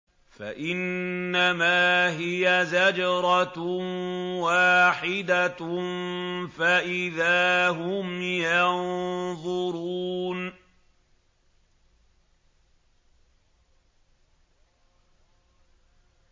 فَإِنَّمَا هِيَ زَجْرَةٌ وَاحِدَةٌ فَإِذَا هُمْ يَنظُرُونَ